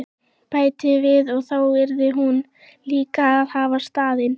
Bætti við að þá yrði hún líka að hafa stafinn.